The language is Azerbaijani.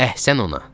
Əhsən ona!